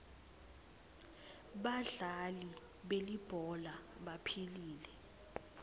badlali belibhola baphilile